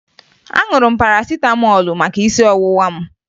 Aṅụrụ m parasịtamọọlụ maka isi ọwụwa m